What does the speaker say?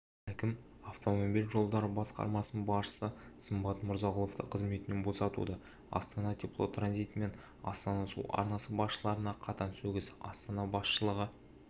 әкім автомобиль жолдары басқармасының басшысы сымбат мырзағұловты қызметінен босатуды астана теплотранзит мен астана су арнасы басшыларына қатаң сөгіс астана басшылығы